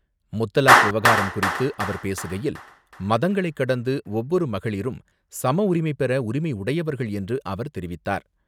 முத்தலாக் விவகாரம் குறித்து அவர் பேசுகையில், மதங்களைக் கடந்து ஒவ்வொரு மகளிரும் சம உரிமை பெற உரிமை உடையவர்கள் என்று அவர் தெரிவித்தார்.